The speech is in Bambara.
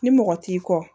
Ni mɔgɔ t'i kɔ